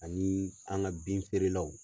Ani an ka bin feerelaw.